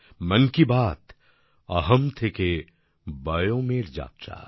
মন কি বাত অহম থেকে বয়ম এর যাত্রা